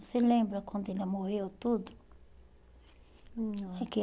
Você lembra quando ela morreu e tudo? Não.